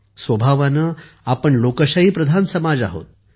स्वभावाने आपण लोकशाहीप्रधान समाज आहोत